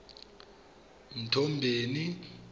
mthombeni